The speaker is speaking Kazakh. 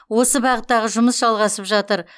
осы бағыттағы жұмыс жалғасып жатыр